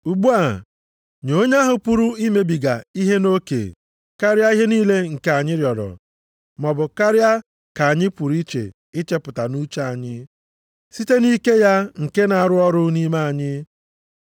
Ugbu a, nye onye ahụ pụrụ imebiga ihe nʼoke karịa ihe niile nke anyị rịọrọ, maọbụ karịa ka anyị pụrụ ichepụta nʼuche anyị, site nʼike ya nke na-arụ ọrụ nʼime anyị,